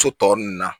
So tɔ nunnu na